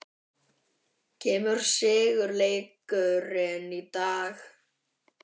Kemur sigurleikurinn í dag?